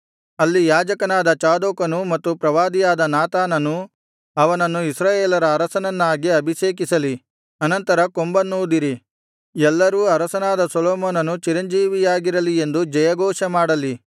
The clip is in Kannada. ಅಲ್ಲಿ ಯಾಜಕನಾದ ಚಾದೋಕನೂ ಮತ್ತು ಪ್ರವಾದಿಯಾದ ನಾತಾನನೂ ಅವನನ್ನು ಇಸ್ರಾಯೇಲರ ಅರಸನನ್ನಾಗಿ ಅಭಿಷೇಕಿಸಲಿ ಅನಂತರ ಕೊಂಬನ್ನೂದಿರಿ ಎಲ್ಲರೂ ಅರಸನಾದ ಸೊಲೊಮೋನನು ಚಿರಂಜೀವಿಯಾಗಿರಲಿ ಎಂದು ಜಯಘೋಷ ಮಾಡಲಿ